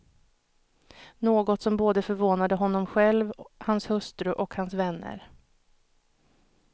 Något som både förvånade honom själv, hans hustru och hans vänner.